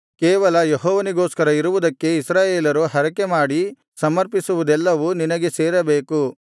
ಕೇವಲ ಯೆಹೋವನಿಗೋಸ್ಕರ ಇರುವುದಕ್ಕೆ ಇಸ್ರಾಯೇಲರು ಹರಕೆಮಾಡಿ ಸಮರ್ಪಿಸುವುದೆಲ್ಲವೂ ನಿನಗೆ ಸೇರಬೇಕು